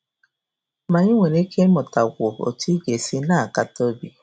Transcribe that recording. Ma i nwere ike ịmụtakwu otú ị ga - esi na - akata obi.